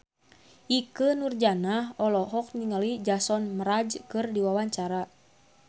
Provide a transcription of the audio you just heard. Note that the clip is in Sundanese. Ikke Nurjanah olohok ningali Jason Mraz keur diwawancara